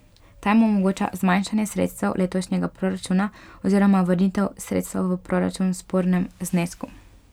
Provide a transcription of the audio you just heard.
Ta jim omogoča zmanjšanje sredstev letošnjega proračuna oziroma vrnitev sredstev v proračun v spornem znesku.